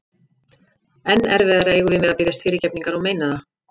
Enn erfiðara eigum við með að biðjast fyrirgefningar og meina það.